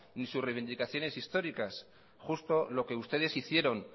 ni sus reivindicaciones históricas justo lo que ustedes hicieron